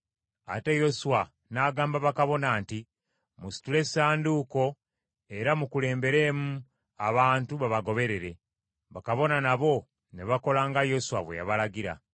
Ate Yoswa n’agamba bakabona nti, “Musitule Essanduuko ey’Endagaano era mukulemberemu abantu babagoberere.” Bakabona nabo ne bakola nga Yoswa bwe yabalagira.